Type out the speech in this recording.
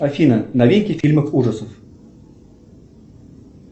афина новинки фильмов ужасов